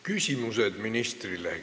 Küsimused ministrile.